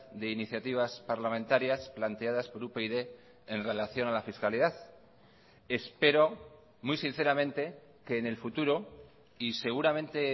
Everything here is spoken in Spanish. de iniciativas parlamentarias planteadas por upyd en relación a la fiscalidad espero muy sinceramente que en el futuro y seguramente